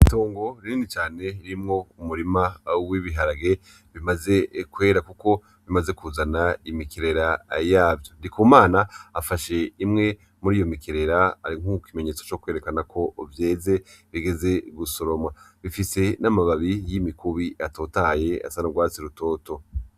Itongo rinini cane ririmwo umurima w'ibiharage bimaze kwera kuko bimaze kuzana imikerera yavyo. Ndikumana afashe imwe muri iyo mikerera nk'ikimenyetso co kwerekana ko vyeze, bigeze gusoromwa. Bifise n'amababi y'imikubi atotahaye asa n'urwatsi rutoto.